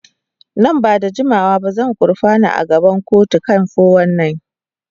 Nan ba da jimawa ba zai gurfana a gaban kotu kan 419.